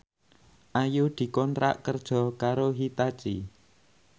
Ayu dikontrak kerja karo Hitachi